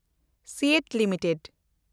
ᱥᱤᱤᱮᱴᱤ limited